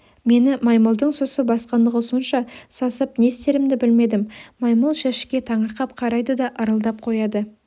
мені маймылдың сұсы басқандығы сонша сасып не істерімді білмедім маймыл жәшікке таңырқап қарайды да ырылдап қояды